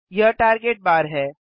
यह टार्गेट बार है